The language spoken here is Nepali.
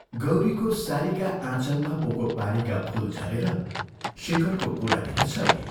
गौरीको सारीका आँचलमा पोको पारेका फूल झरेर शेखरको गोडानेर छरिए।